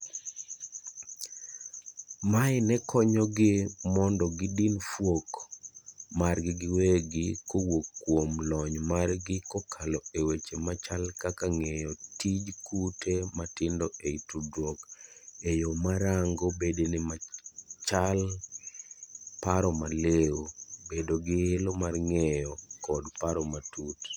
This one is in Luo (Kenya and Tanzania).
Mae nekonyogi mon do gidin fuok margi giwegi kowuok kuom lony margi kokalo eweche machal kaka ng'eyo tij kute matindo ei tudruok eyoo ma rango bedene machal paro maliw, bedo giilo mar ng'eyo kod paro matut,